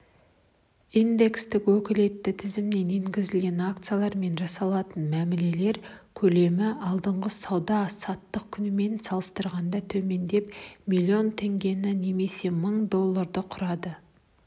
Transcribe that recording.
индекстің өкілетті тізіміне енгізілген акциялармен жасалатын мәмілелер көлемі алдыңғы сауда-саттық күнімен салыстырғанда төмендеп млн теңгені немесе мың долларды құрады